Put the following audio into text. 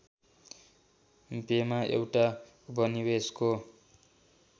बेमा एउटा उपनिवेशको